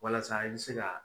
Walasa i bɛ se ka